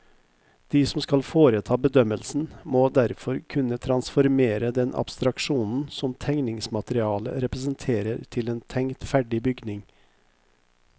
De som skal foreta bedømmelsen, må derfor kunne transformere den abstraksjonen som tegningsmaterialet representerer til en tenkt ferdig bygning.